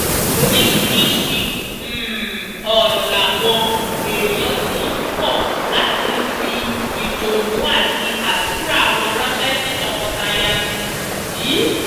oríṣiríṣiì um ọ̀rọ̀ làwọn èèyàn ti ń kọ́ láti fi ìdùnnú àti àdúrà wọn ránṣẹ́ sí tọkọtaya um yìí